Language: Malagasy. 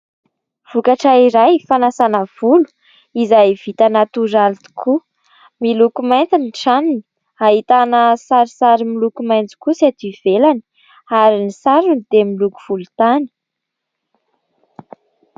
Vokatra iray fanasana volo izay vita natoraly tokoa, miloko mainty ny tranony. Ahitana sarisary miloko maintso kosa ety ivelany ary ny sarony dia miloko volotany.